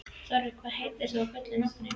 Þorri, hvað heitir þú fullu nafni?